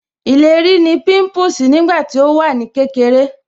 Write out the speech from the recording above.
Ìlérí ní pimpusi nígbà tí ó wà ní kékeré